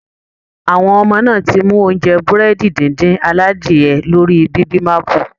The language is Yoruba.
Àwọn ọmọ náà ti mú oúnjẹ Búrẹ́dì díndín aladiye lórí bibimapu